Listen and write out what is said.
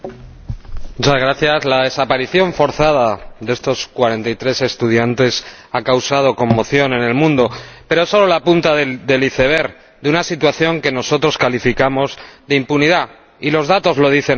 Señora Presidenta, la desaparición forzada de estos 43 estudiantes ha causado conmoción en el mundo, pero es solo la punta del iceberg de una situación que nosotros calificamos de impunidad, y los datos lo dicen así.